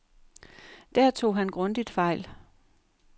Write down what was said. Der tog han grundigt fejl.